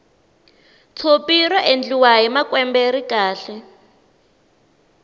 tshopi ra endliwa hi makwembe ri kahle